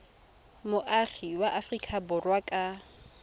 moagi wa aforika borwa ka